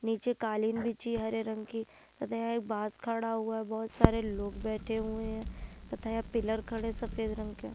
नीचे कालीन बिछी हरे रंग की तथा एक बॉस खड़ा हुआ है बहुत सारे लोग बैठे हुए हैं तथा पिलर खड़े सफेद रंग के।